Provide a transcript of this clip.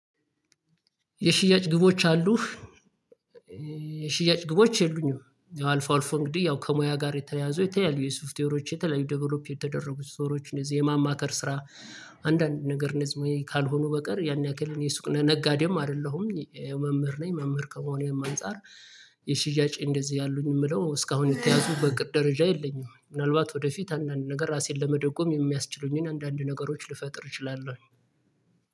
የሽያጭ ግቦች አሉ። የሽያጭ ግቦች የሉኝም። ያው አልፎ አልፎ እንግዲህ ያው ከሙያ ጋር የተያያዙ የተለያዩ ሶፍትዌሮች የተለያዩ ዴቨሎፕ የተደረጉ ስቶሮች እንደዚህ የማማከር ስራ። አንዳንድ ነገር ካልሆኑ በቀር ያን ያክል የሱቅ ነጋዴም አይደለሁም መምህር ነኝ መምህር ከመሆኔም አንፃር። የሽያጭ እንደዚህ አሉኝ የምለው እስካሁን የተያዙ በእቅድ ደረጃ የለኝም። ምናልባት ወደፊት አንዳንድ ነገር ራሴን ለመደጎም የሚያስችሉኝን አንዳንድ ነገሮች ልፈጥር እችላለሁ